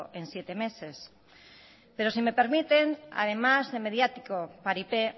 en siete meses pero si me permiten además de mediático paripé